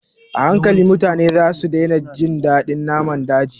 A hankali, mutane za su daina jin daɗin naman daji